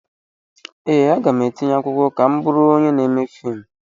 Ee, aga m etinye akwụkwọ ka m bụrụ onye na-eme fiimu.